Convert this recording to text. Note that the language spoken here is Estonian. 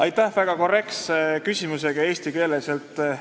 Aitäh väga korrektses eesti keeles esitatud küsimuse eest!